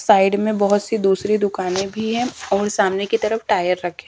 side में बहोत सी दूसरी दुकाने भी है और सामने की तरफ टायर रखें--